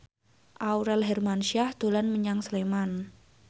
Aurel Hermansyah dolan menyang Sleman